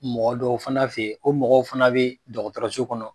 Mɔgɔ dɔw fana fɛ yen, o mɔgɔw fana bɛ dɔgɔtɔrɔso kɔnɔ.